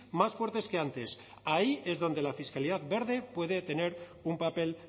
más fuertes que antes ahí es donde la fiscalidad verde puede tener un papel